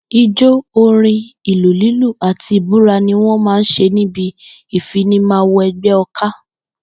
Ijó, orín, ìlù lílù àti ìbúra ni wó̩n máa ń s̩e níbi ìfinimawo e̩gbé̩ o̩ká